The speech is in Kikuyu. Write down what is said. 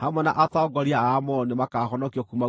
hamwe na atongoria a Amoni nĩmakahonokio kuuma guoko-inĩ gwake.